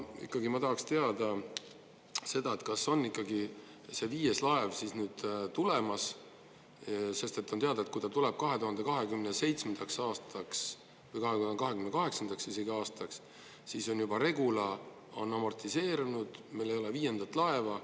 Ikkagi ma tahaksin teada seda, et kas on ikkagi see viies laev siis nüüd tulemas, sest on teada, et kui ta tuleb 2027. aastaks või 2028. aastaks, siis Regula on juba amortiseerunud, meil ei ole viiendat laeva.